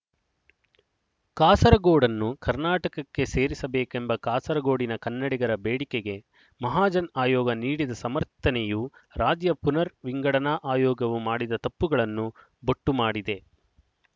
ಕಾಸರಗೋಡನ್ನು ಕರ್ನಾಟಕ್ಕೆ ಸೇರಿಸಬೇಕೆಂಬ ಕಾಸರಗೋಡಿನ ಕನ್ನಡಿಗರ ಬೇಡಿಕೆಗೆ ಮಹಾಜನ್ ಆಯೋಗ ನೀಡಿದ ಸಮರ್ಥನೆಯು ರಾಜ್ಯ ಪುನರ್ ವಿಂಗಡನಾ ಆಯೋಗವು ಮಾಡಿದ ತಪ್ಪುಗಳನ್ನು ಬೊಟ್ಟುಮಾಡಿದೆ